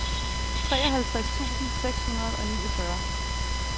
treoghalvtreds tusind seks hundrede og niogfyrre